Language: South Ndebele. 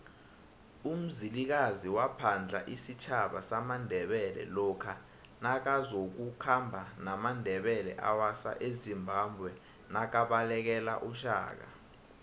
umzilikazi waphadla isitjhaba samandebele lokha nakazoku khamba namandebele awasa ezimbabwenakabalekele ushaka